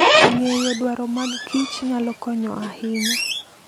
Ng'eyo dwaro mag kich nyalo konyo ahinya.